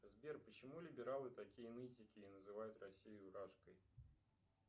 сбер почему либералы такие нытики и называют россию рашкой